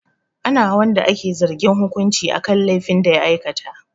Ana wa wanda ake zargin hukunci akan laifin da ya aikata.